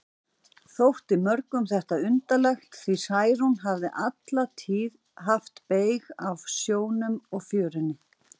Þótti mörgum þetta undarlegt, því Særún hafði alla tíð haft beyg af sjónum og fjörunni.